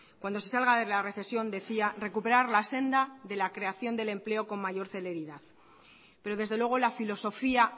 cuando se salga de la recesión decía recuperar la senda de la creación del empleo con mayor celeridad pero desde luego la filosofía